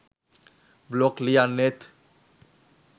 blog ලියන්නේත්